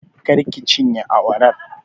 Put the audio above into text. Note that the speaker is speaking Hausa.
Kar ki cinye awarar!